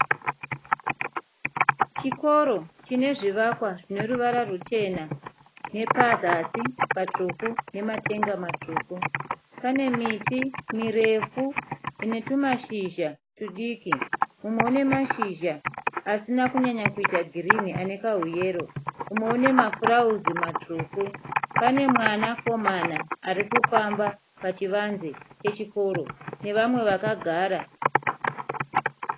Chikoro chine zvivakwa zvine ruvara ruchena nepazasi patsvuku nematenga matsvuku. Pane miti mirefu ine tumashizha tudiki, mumwe une mashizha asina kunyanyanya kuita girini anekauyero, umwe une mafurauzi matsvuku. Pane mwana komana arikufamba pachivanze chechikoro nevamwe vakagara.